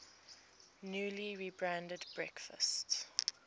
newly rebranded breakfast